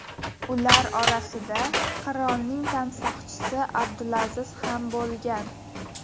Ular orasida qirolning tansoqchisi Abdulaziz ham bo‘lgan.